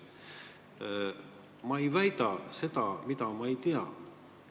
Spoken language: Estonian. Ma ei väida seda, mida ma ei tea.